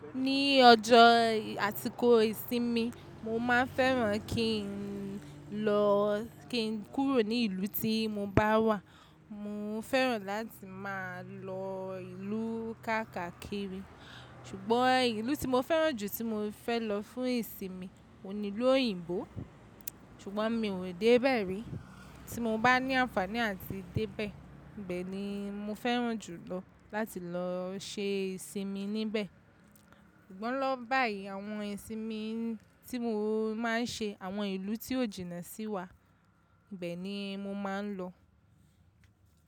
Ní ọjọ́ àsíkò ìsinmi mo máa ń fẹ́ran kí n lọ kí n kúrò ní ìlú tí mo bá wà. Mo fẹ́ran láti máa lọ ìlú káàkakiri ṣùgbọ́n ìlú tí mo fẹ́ran jù tí mo fẹ́ lọ fún ìsinmi ò hun ní lú òyìnbó ṣùgbọ́n mi ò dé bẹ́ ri. Tí mo bá ní àǹfààní àti dé bẹ́ẹ̀, i bee ni mo fẹ́ran jùlọ láti lọ ṣe ìsinmi níbẹ̀. Sugbon lowo báyìí àwọn ìsinmi tí mo máa ń ṣe àwọn ìlú tí ó jìnnà sí wa ibe ni mo máa ń lọ.